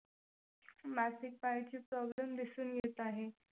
मासिक पाळीची problem दिसून येत आहेत.